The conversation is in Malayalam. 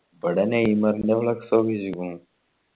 ഇവിടെ നെയ്മർലെ flux ആ ഒട്ടിച്ചിക്കണു